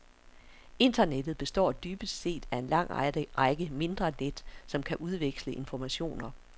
Internettet består dybest set af en lang række mindre net, som kan udveksle informationer.